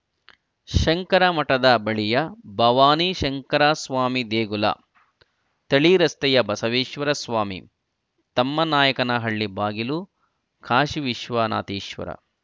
ಶಂಕರ ಮಠದ ಬಳಿಯ ಭವಾನಿ ಶಂಕರಸ್ವಾಮಿ ದೇಗುಲ ಥಳಿ ರಸ್ತೆಯ ಬಸವೇಶ್ವರ ಸ್ವಾಮಿ ತಮ್ಮನಾಯಕನಹಳ್ಳಿ ಬಾಗಿಲು ಕಾಶೀ ವಿಶ್ವನಾಥೇಶ್ವರ